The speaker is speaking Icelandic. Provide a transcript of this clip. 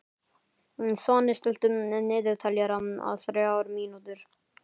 Svani, stilltu niðurteljara á þrjár mínútur.